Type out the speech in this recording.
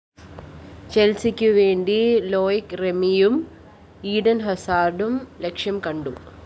ചെല്‍സിക്കുവേണ്ടി Loic റെമിയും Eden‍ ഹസാര്‍ഡും ലക്ഷ്യംകണ്ടു